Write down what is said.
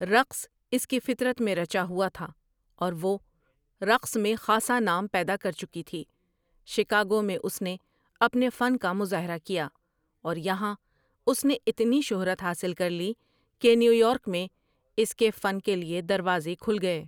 رقص اس کی فطرت میں رچا ہوا تھا اور وہ رقص میں خاصا نام ہیدا کر چکی تھی شکاگو میں اس نے اپنے فن کا مظاہرہ کیا اور یہاں اس نے اتنی شہرت حاصل کر لی کہنیویارک میں اس کے فن کے لیے دروازے کھل گئے ۔